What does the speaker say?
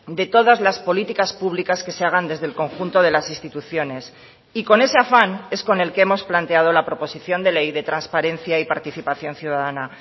de todas las políticas públicas que se hagan desde el conjunto de las instituciones y con ese afán es con el que hemos planteado la proposición de ley de transparencia y participación ciudadana